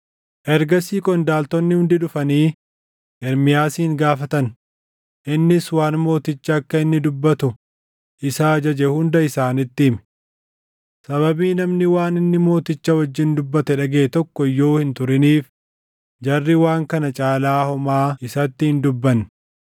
Ergasii qondaaltonni hundi dhufanii Ermiyaasin gaafatan; innis waan mootichi akka inni dubbatu isa ajaje hunda isaanitti hime. Sababii namni waan inni mooticha wajjin dubbate dhagaʼe tokko iyyuu hin turiniif, jarri waan kana caalaa homaa isatti hin dubbanne.